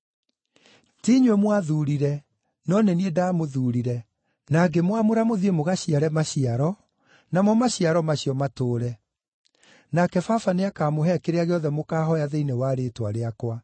Ti inyuĩ mwathuurire, no nĩ niĩ ndamũthuurire, na ngĩmwamũra mũthiĩ mũgaciare maciaro, namo maciaro macio matũũre. Nake Baba nĩakamũhe kĩrĩa gĩothe mũkahooya thĩinĩ wa rĩĩtwa rĩakwa.